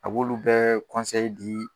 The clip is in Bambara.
A b'olu bɛɛ di